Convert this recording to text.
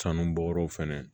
Sanubɔyɔrɔw fɛnɛ